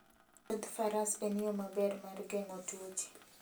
Wuodh faras en yo maber mar geng'o tuoche